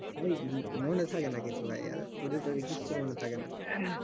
ভাই মনে থাকে না কিছু ভায়া আর পড়ি টরি আর কিচ্ছু মনে থাকে না